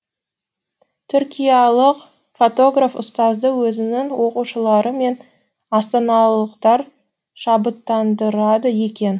түркиялық фотограф ұстазды өзінің оқушылары мен астаналықтар шабыттандырады екен